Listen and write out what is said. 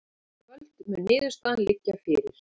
Í kvöld mun niðurstaðan liggja fyrir